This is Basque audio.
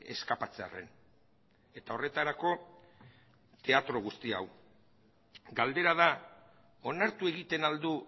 eskapatzearren eta horretarako teatro guzti hau galdera da onartu egiten al du